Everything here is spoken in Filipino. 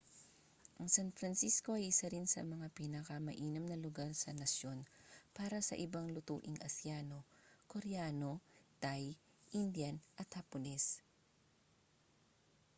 ang san francisco ay isa rin sa mga pinakamainam na lugar sa nasyon para sa ibang lutuing asyano koreano thai indian at hapones